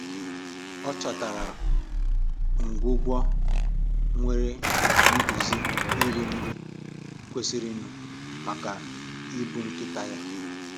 Ọ chọtara ngwugwu nwere nduzi iri nri kwesịrịnụ maka ibu nkịta ya